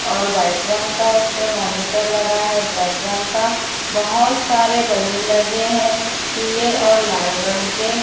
और व्हाईट रंग का उसपे मॉनीटर लगा है ब्लैक रंग का बहोत सारे बैलून लगे हैं पीले और लाल रंग के--